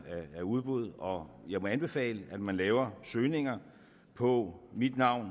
af udbud og jeg må anbefale at man laver søgninger på mit navn